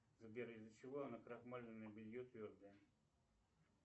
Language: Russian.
сбер из за чего накрахмаленное белье твердое